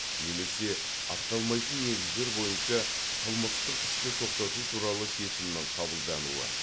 немесе ақталмайтын негіздер бойынша қылмыстық істі тоқтату туралы шешімнің қабылдануы